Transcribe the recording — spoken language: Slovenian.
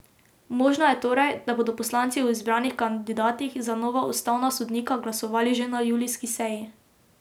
Možno je torej, da bodo poslanci o izbranih kandidatih za nova ustavna sodnika glasovali že na julijski seji.